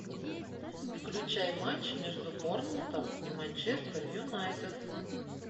включай матч между борнмутом и манчестер юнайтед